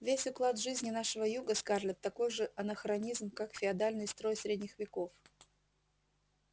весь уклад жизни нашего юга скарлетт такой же анахронизм как феодальный строй средних веков